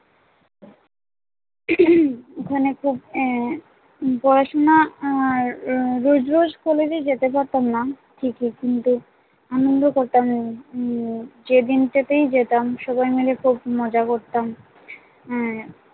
ওখানে খুব আহ পড়াশোনা আর রোজ রোজ কলেজে যেতে পারতাম না ঠিক ই কিন্তু আনন্দ করতাম উম যেদিন থেকেই যেতাম সবাই মিলে খুব মজা করতাম উম